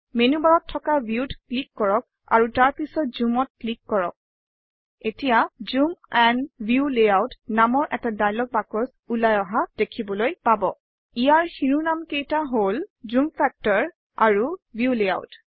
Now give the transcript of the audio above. menu বাৰত থকা view ত ক্লিক কৰক আৰু তাৰ পিছত zoom অত ক্লিক কৰক এতিয়া জুম এণ্ড ভিউ লেয়াউট নামৰ এটা ডায়লগ বাকচ ওলাই অহা দেখিবলৈ পাব ইয়াৰ শিৰোনামকেইটা হল - জুম ফেক্টৰ আৰু ভিউ লেয়াউট